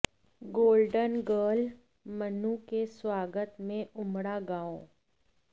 golden girl Manu के स्वागत में उमड़ा गांव